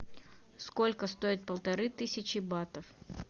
сколько стоит полторы тысячи батов